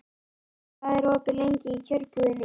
Líf, hvað er opið lengi í Kjörbúðinni?